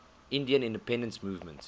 indian independence movement